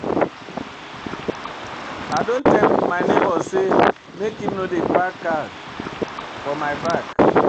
I don tell my nebor sey make im no dey park car for my back.